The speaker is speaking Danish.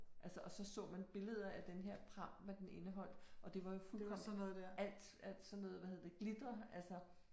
Altså og så så man billeder af den her pram, hvad den indeholdt, og det var jo fuldkommen alt alt sådan noget, hvad er der nu det hedder, glitter altså